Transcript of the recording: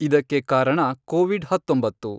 ಇದಕ್ಕೆ ಕಾರಣ, ಕೋವಿಡ್ ಹತ್ತೊಂಬತ್ತು